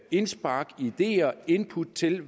indspark ideer input til